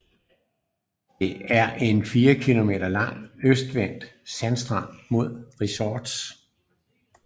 Det er en fire kilometer lang østvendt sandstrand med resorts